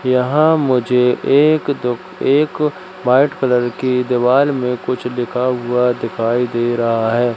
यहां मुझे एक दुख एक व्हाइट कलर की दीवाल में कुछ लिखा हुआ दिखाई दे रहा हैं।